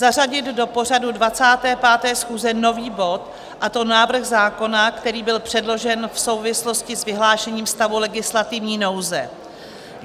Zařadit do pořadu 25. schůze nový bod, a to návrh zákona, který byl předložen v souvislosti s vyhlášením stavu legislativní nouze.